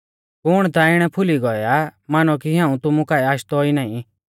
कुण ता इणै फूली गौऐ आ मानौ कि हाऊं तुमु काऐ आशदौ ई नाईं